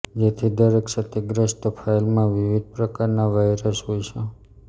જેથી દરેક ક્ષતિગ્રસ્ત ફાઈલમાં વિવિધ પ્રકારના વાઈરસ હોય છે